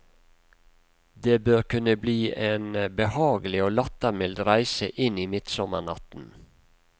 Det bør kunne bli en behagelig og lattermild reise inn i midtsommernatten.